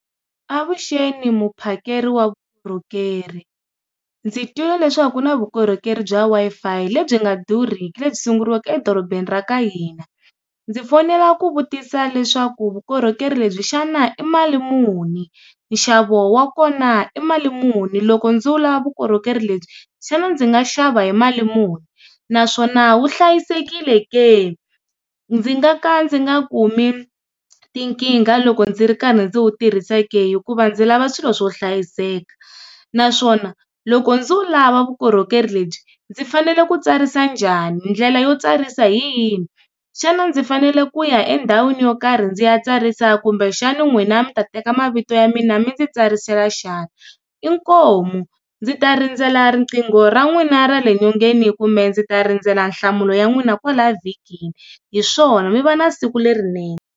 Avuxeni muphakeri wa vukorhokeri, ndzi twile leswaku ku na vukorhokeri bya Wi-Fi lebyi nga durhiki lebyi sunguriwake edorobeni ra ka hina. Ndzi fonela ku vutisa leswaku vukorhokeri lebyi xana i mali muni, nxavo wa kona i mali muni loko ndzi lava vukorhokeri lebyi xana ndzi nga xava hi mali muni? Naswona wu hlayisekile ke? Ndzi nga ka ndzi nga kumi tinkingha loko ndzi ri karhi ndzi wu tirhisa ke hikuva ndzi lava swilo swo hlayiseka, naswona loko ndzi wu lava vukorhokeri lebyi ndzi fanele ku tsarisa njhani ndlela yo tsarisa hi yini? Xana ndzi fanele ku ya endhawini yo karhi ndzi ya tsarisa kumbe xana n'wina mi ta teka ma mavito ya mina mi ndzi tsarisa xana? Inkomu, ndzi ta rindzela riqingho ra n'wina ra le nyongeni kumbe ndzi ta rindzela nhlamulo ya n'wina kwala vhikini, hiswona mi va na siku lerinene.